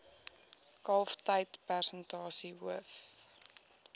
kalftyd persentasie hoof